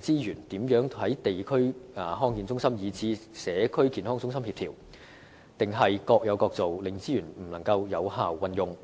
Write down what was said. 資源如何能夠與地區康健中心，以至社區健康中心協調，抑或只是各有各做，令資源不能有效運用？